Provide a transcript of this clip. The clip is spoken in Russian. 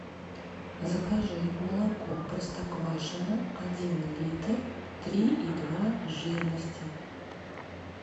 закажи молоко простоквашино один литр три и два жирности